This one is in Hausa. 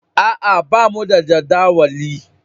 A'a, bamu da jadawali.